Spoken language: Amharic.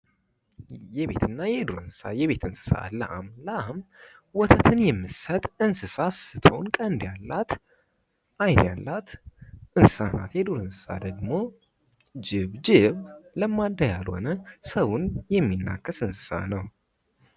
የቤትና የዱር እንስሳ ፦ የቤት እንስሳት ፦ ላም ፦ ላም ወተትን የምትሰጥ እንስሳ ስትሆን ቀንድ ያላት ፣ አይን ያላት እንስሳ ናት ። የዱር እንስሳት ደግሞ ጅብ ፦ ጅብ ለማዳ ያልሆነ ሰውን የሚናከስ እንሰሳ ነው ።